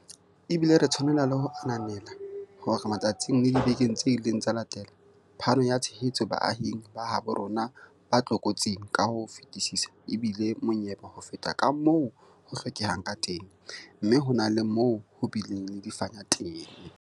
Ebile re tshwanela le ho ananela hore matsatsing le dibekeng tse ileng tsa latela, phano ya tshehetso baahing ba habo rona ba tlokotsing ka ho fetisisa ebile monyebe ho feta kamoo ho hlokehang ka teng, mme ho na le moo ho bileng le difanya teng.